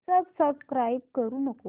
subscribe करू नको